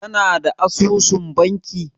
Ka na da asusun banki?